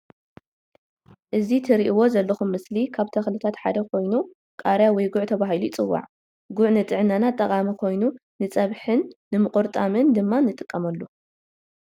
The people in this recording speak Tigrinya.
እዚ ትርእዎ ዘለኩም ምስሊ ካብ ተክልታት ሓደ ኮይኑ ቃሪያ ወይ ጉዕ ተባሂሉ ይፅዋዕ። ጉዕ ንጥዕናና ጠቃሚ ኮይኑ ንፀብሕን ንምቁርጣምን ድማ ንጥቀመሉ።